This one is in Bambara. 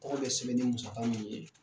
Tɔgɔ bɛ sɛbɛn ni musaga min ye.